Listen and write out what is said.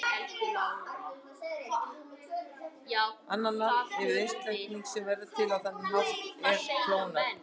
Annað nafn yfir einstaklinga sem verða til á þennan hátt er klónar.